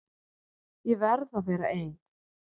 Ég verð að vera ein.